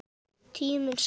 Tíminn sagði